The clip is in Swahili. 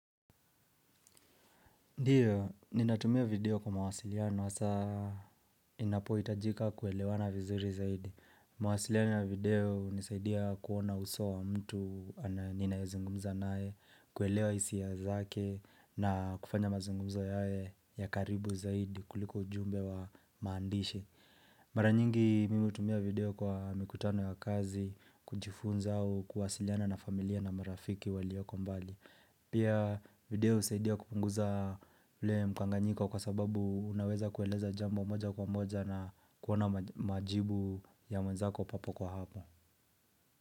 Ndiyo, ninatumia video kwa mawasiliano, saa inapo hitajika kuelewana vizuri zaidi. Mwasiliano ya video nisaidia kuona usawa mtu ninaye zungumza naye, kuelewa hisia zake na kufanya mazungumzo yawe ya karibu zaidi kuliko ujumbe wa maandishi. Mara nyingi, mimi hutumia video kwa mikutano ya kazi, kujifunza au kuhasiliana na familia na marafiki waliyoko mbali. Pia video husaidia kupunguza ule mkanganyiko kwa sababu unaweza kueleza jambo moja kwa moja na kuona majibu ya mwenzako hapo kwa hapo.